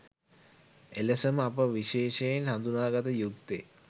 එලෙසම අප විශේෂයෙන් හඳුනාගත යුත්තේ